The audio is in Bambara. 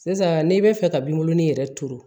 Sisan n'i bɛ fɛ ka binkurunin yɛrɛ turu